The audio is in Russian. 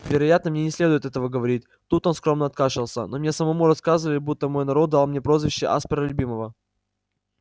вероятно мне не следует этого говорить тут он скромно откашлялся но мне самому рассказывали будто мой народ дал мне прозвище аспера любимого